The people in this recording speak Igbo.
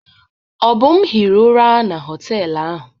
Obum hiri ụra na họtelụ ahụ.